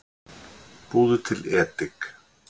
Búðu til edik